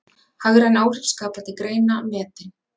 Hagræn áhrif skapandi greina metin